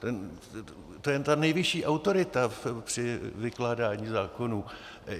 To je ta nejvyšší autorita při vykládání zákonů.